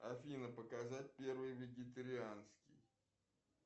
афина показать первый вегетарианский